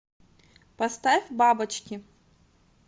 поставь бабочки